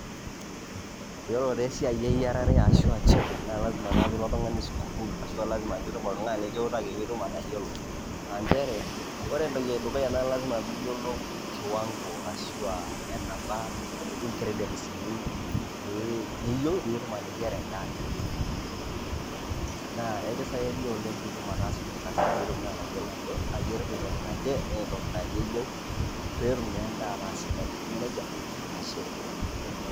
Iyiolo taa esia eyiarare ashu a chefing naa lazima naa piilo oltung'ani sukuul ashu a lazima piitum oltung'ani likiutaki piitum atayiolo, a nchere ore entoki e dukuya naa lazima piiyolou kiwango ashu enaba incridients niyieu piitum ateyiara endaa naje. Naa ekisaidia oleng' piitum ataasa ilo kasi piitum naa atayilo aje ayerita entoki naje naa entoki naje eyeu pee etum naa endaa ataa sidai, eme neja ashe.